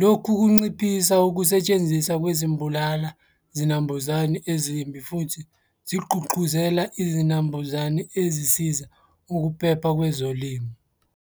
Lokhu kunciphisa ukusetshenziswa kwezimbulala zinambuzane ezimbi futhi zigqugquzela izinambuzane ezisiza ukuphepha kwezolimo.